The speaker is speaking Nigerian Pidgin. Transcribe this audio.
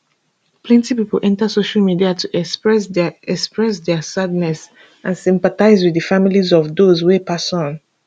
plenty pipo enta social media to express dia express dia sadness and sympathise wit di families of dose wey pass on